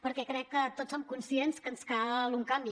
perquè crec que tots som conscients que ens cal un canvi